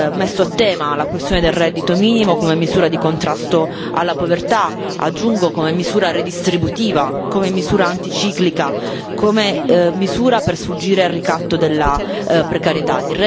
messo a tema la questione del reddito minimo come misura di contrasto alla povertà, aggiungo come misura redistributiva, come misura anticiclica, come misura per sfuggire al ricatto della precarietà.